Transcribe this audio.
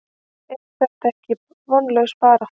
Er þetta ekki vonlaus barátta?